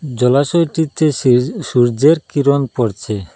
জলাশয়টিতে সে সূর্যের কিরণ পড়ছে।